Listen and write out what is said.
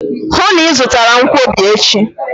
Hụụ na Ị zụtara m nkwobi echi!